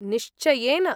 निश्चयेन।